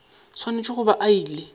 swanetše go ba a ile